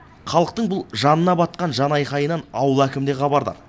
халықтың бұл жанына батқан жанайқайынан ауыл әкімі де хабардар